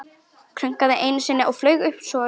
Krunkaði einu sinni og flaug svo upp.